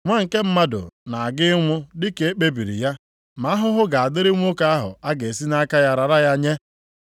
Nwa nke Mmadụ na-aga ịnwụ dị ka e kpebiri ya, ma ahụhụ ga-adịrị nwoke ahụ a ga-esi nʼaka ya rara ya nye.”